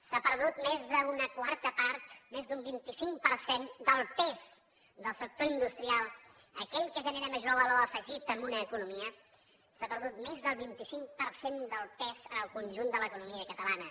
s’ha perdut més d’una quarta part més d’un vint cinc per cent del pes del sector industrial aquell que genera major valor afegit a una economia s’ha perdut més del vint cinc per cent del pes en el conjunt de l’economia catalana